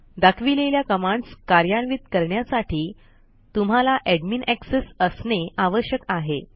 दाखविलेल्या कमांडस् कार्यान्वित करण्यासाठी तुम्हाला एडमिन एक्सेस असणे आवश्यक आहे